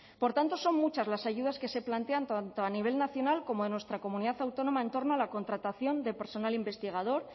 por tanto son muchas las ayudas que se plantean tanto a nivel nacional como de nuestra comunidad autónoma en torno a la contratación de personal investigador